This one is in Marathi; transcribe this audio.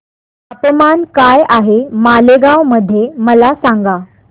तापमान काय आहे मालेगाव मध्ये मला सांगा